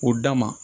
O da ma